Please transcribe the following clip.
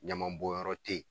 Ɲamanbɔnyɔrɔ te ye